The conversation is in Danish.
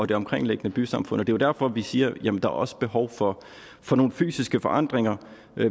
det omkringliggende bysamfund og det er jo derfor vi siger jamen der er også behov for for nogle fysiske forandringer